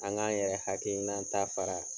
An k'an yɛrɛ hakilinata